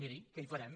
miri què hi farem